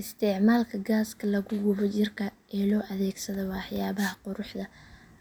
Isticmaalka gaaska lagu gubo jirka ee loo adeegsado waxyaabaha quruxda